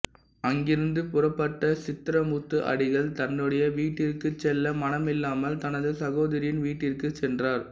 அங்கிருந்து புறப்பட்ட சித்ரமுத்து அடிகள் தன்னுடைய வீட்டிற்குச் செல்ல மனமில்லாமல் தனது சகோதரியின் வீட்டிற்குச் சென்றார்